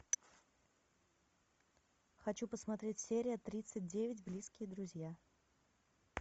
хочу посмотреть серия тридцать девять близкие друзья